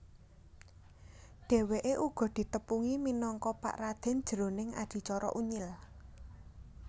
Dhèwèké uga ditepungi minangka Pak Raden jroning adicara Unyil